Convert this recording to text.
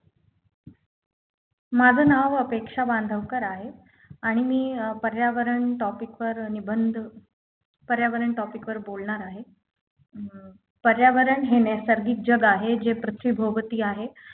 माझ नाव अपेक्षा बांधवकर आहे आणि मी अं पर्यावरण Topic वर निबंध पर्यावरण Topic वर बोलणार आहे अं पर्यावरण हे नैसर्गिक जग आहे जे पृथ्वीभोवती आहे